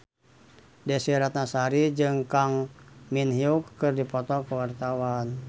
Desy Ratnasari jeung Kang Min Hyuk keur dipoto ku wartawan